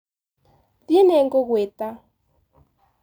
Thĩ nĩngũgũĩta